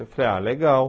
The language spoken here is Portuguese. Eu falei, ah, legal.